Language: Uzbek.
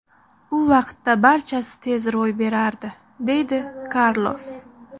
U vaqtda barchasi tez ro‘y berardi”, deydi Karlos.